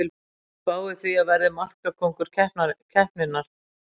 Spái því að verði markakóngur keppninnar!